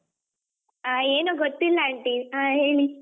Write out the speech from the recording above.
ಆ ಏನು ಗೊತ್ತಿಲ್ಲಾಂಟಿ ಹಾ ಹೇಳಿ.